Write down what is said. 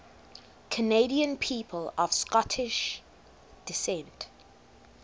canadian people of scottish descent